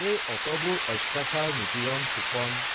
এই অতবোৰ অত্যাচাৰ নিপীড়ণ শোষণ